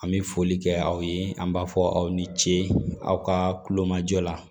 An bɛ foli kɛ aw ye an b'a fɔ aw ni ce aw ka kulomajɔ la